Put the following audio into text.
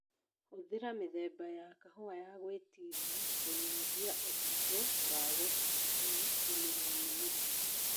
Hũthira mithemba ya kahũa ya gwĩtiria kũnyihia ũhũthũ wa kũgũmĩrwo nĩ mĩrimũ